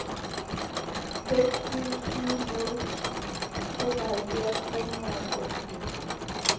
seks syv syv nul femoghalvfjerds tre hundrede og otteogfirs